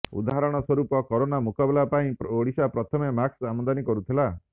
ଉଦାହରଣ ସ୍ୱରୂପ କରୋନା ମୁକାବିଲା ପାଇଁ ଓଡିଶା ପ୍ରଥମେ ମାସ୍କ ଆମଦାନୀ କରୁଥିଲା